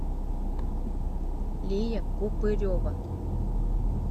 лия купырева